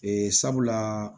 Ee sabula